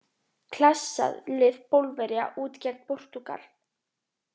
Klassa lið Pólverja út gegn Portúgal.